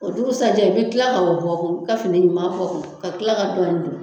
O dugusajɛ i bɛ kila ka o bɔ kun i ka fini ɲuman bɔ ka kila ka dɔ in